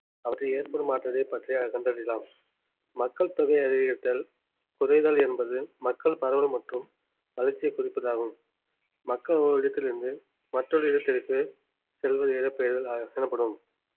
அவற்றில் ஏற்படும் மாற்றத்தை பற்றிய கண்டறியலாம் மக்கள் தொகை அதிகரித்தல் குறைதல் என்பது மக்கள் பரவல் மற்றும் வளர்ச்சியை குறிப்பதாகும் மக்கள் ஓரிடத்திலிருந்து மற்றொரு இடத்திற்கு செல்வது இடம்பெயர்தல் அஹ் எனப்படும்